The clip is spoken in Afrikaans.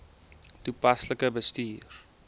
toepaslik bestuur